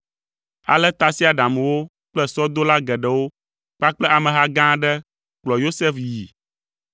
Ale tasiaɖamwo kple sɔdola geɖewo kpakple ameha gã aɖe kplɔ Yosef yii.